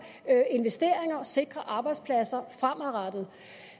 investeringer og sikrer arbejdspladser fremadrettet